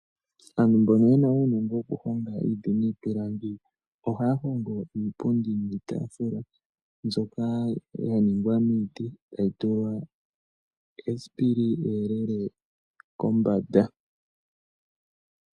Aantu mbono yena uunongo woku honga iiti niipilangi ohaya hongo iipundi niitaafula mbyoka ya ningwa miiti, etayi tulwa esipili eyelele kombanda.